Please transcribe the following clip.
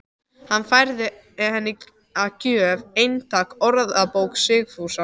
Hann færði henni að gjöf eintak af Orðabók Sigfúsar